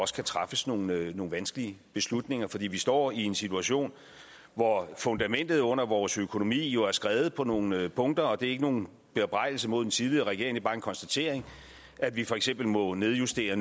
skal træffes nogle nogle vanskelige beslutninger fordi vi står i en situation hvor fundamentet under vores økonomi jo er skredet på nogle punkter og det er ikke nogen bebrejdelse mod den tidligere regering det er bare en konstatering at vi for eksempel nu må nedjustere